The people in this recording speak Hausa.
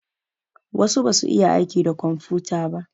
Wasu basu iya aiki da komfuta ba.